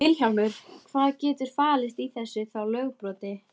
Vilhjálmur, hvað getur falist í þessu þá lögbroti?